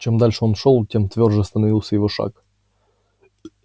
чем дальше он шёл тем твёрже становился его шаг